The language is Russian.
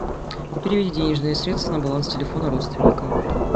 переведи денежные средства на баланс телефона родственника